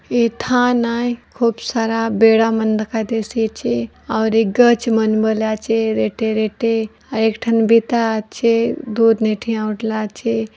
ए थाना ए खूब सारा बेड़ा बंद दिखाई देसे चे और एक गछ मन बलिया चे रेते रेते और एक ठन बिताचे दो नेथल्या आउटला चे